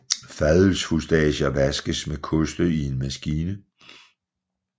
Fadølsfustager vaskes med koste i en maskine